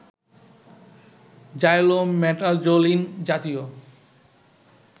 xylometazoline জাতীয়